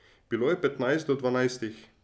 Bilo je petnajst do dvanajstih.